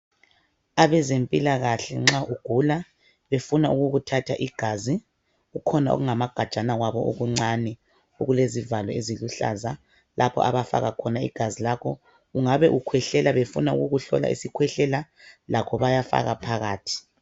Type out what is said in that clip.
Abezempilakahle nxa ugula befuna ukukuthatha igazi kukhona okungamagajana kwabo okuncane okulezivalo eziluhlaza lapho abafaka khona igazi lakho ungabe ukwehlela befuna ukukuhlola isikhwehlela lakho bayafaka phakathi